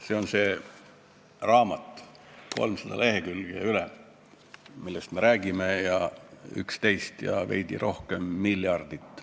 See on see raamat, millest me räägime: 300 lk ja rohkemgi, 11 ja veidi rohkem miljardit.